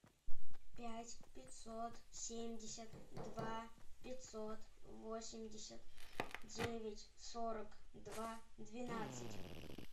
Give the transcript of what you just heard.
пять пятьсот семьдесят два пятьсот восемьдесят девять сорок два двенадцать